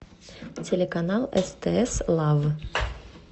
телеканал стс лав